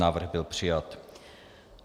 Návrh byl přijat.